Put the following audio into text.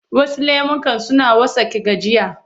Wasu lemukan suna wartsake gajiya.